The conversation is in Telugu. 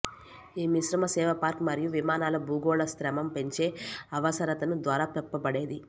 ఈ మిశ్రమ సేవ పార్క్ మరియు విమానాలు భూగోళశాస్త్రం పెంచే అవసరతను ద్వారా చెప్పబడేది